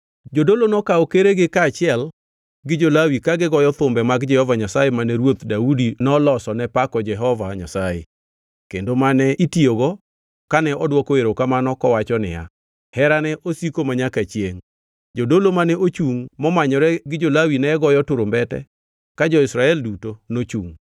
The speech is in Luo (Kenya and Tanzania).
Jodolo nokawo keregi kaachiel gi jo-Lawi ka goyo thumbe mag Jehova Nyasaye mane ruoth Daudi nolosone pako Jehova Nyasaye kendo mane itiyogo kane odwoko erokamano kowacho niya, “Herane osiko manyaka chiengʼ.” Jodolo mane ochungʼ momanyore gi jo-Lawi ne goyo turumbete ka jo-Israel duto nochungʼ.